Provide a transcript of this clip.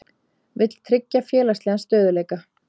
Vill tryggja félagslegan stöðugleika